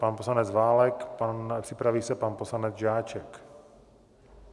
Pan poslanec Válek, připraví se pan poslanec Žáček.